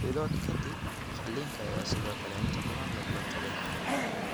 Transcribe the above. bilood ka dib qaliinka ayaa sidoo kale inta badan lagula talinayaa.